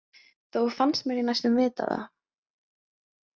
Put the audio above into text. Þó fannst mér ég næstum vita það.